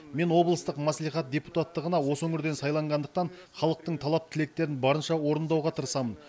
мен облыстық мәслихат депутаттығына осы өңірден сайланғандықтан халықтың талап тілектерін барынша орындауға тырысамын